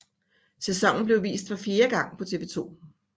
Sæsonen blev vist for fjerde gang på TV 2